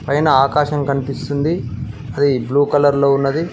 పైన ఆకాశం కన్పిస్తుంది అది బ్లూ కలర్ లో ఉన్నది.